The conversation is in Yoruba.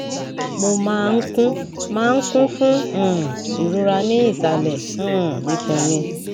mo máa ń kún máa ń kún fún um ìrora ní ìsàlẹ um ikùn mi